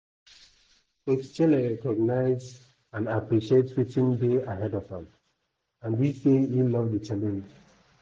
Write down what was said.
"coach chelle recognize and appreciate wetin dey ahead of am and e say e love di challenge.